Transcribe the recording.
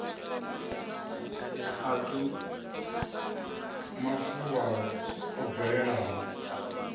a si mafuvhalo o bvelelaho